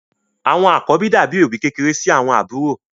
Àwọn àkọ́bí dàbí òbí kékeré sí àwọn àbúrò.